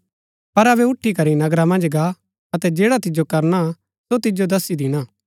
पर अबै उठी करी नगर मन्ज गा अतै जैडा तिजो करना सो तिजो दस्सी दिणा